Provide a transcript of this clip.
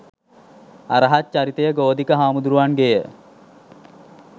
අරහත් චරිතය ගෝධික හාමුදුරුවන්ගේය.